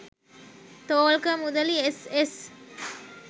තෝල්ක මුදලි එස්.එස්.